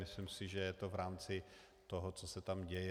Myslím si, že je to v rámci toho, co se tam děje.